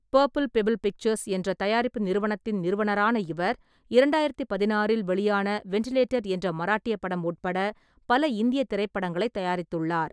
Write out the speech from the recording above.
Purple Pebble Pictures என்ற தயாரிப்பு நிறுவனத்தின் நிறுவனரான இவர், இரண்டாயிரத்து பதினாறில் வெளியான வெண்ட்டிலேட்டர் என்ற மராட்டிய படம் உட்பட பல இந்திய திரைப்படங்களை தயாரித்துள்ளார்.